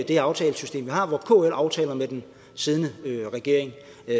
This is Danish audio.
det aftalesystem vi har hvor kl aftaler med den siddende regering